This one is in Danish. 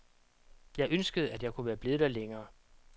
Jeg ønskede, at jeg kunne være blevet der længere.